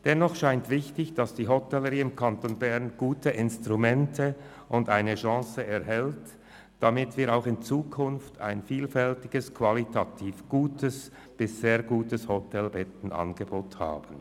Dennoch scheint es wichtig, dass die Hotellerie im Kanton Bern gute Instrumente und eine Chance erhält, damit wir auch in Zukunft ein vielfältiges, qualitativ gutes bis sehr gutes Hotelbettenangebot haben.